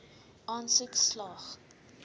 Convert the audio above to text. aansoek slaag